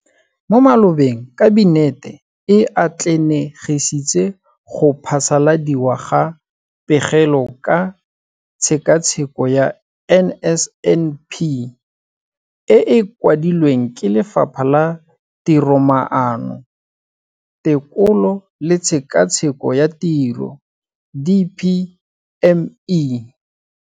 Mo malobeng Kabinete e atlenegisitse go phasaladiwa ga Pegelo ka Tshekatsheko ya NSNP e e kwadilweng ke Lefapha la Tiromaano, Tekolo le Tshekatsheko ya Tiro, DPME.